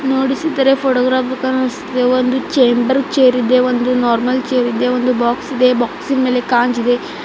ನೋಡಿಸಿದರೆ photograph book ಕಾಣಿಸ್ತಿದೆ ಒಂದು chamber chair ಇದೆ ಒಂದು ನಾರ್ಮಲ್ ಚೇರ್ ಇದೆ ಒಂದು ಬಾಕ್ಸ್ ಇದೆ ಬಾಕ್ಸ್ ಇನ್ ಮೇಲೆ ಕಾಂಜ್ ಇದೆ.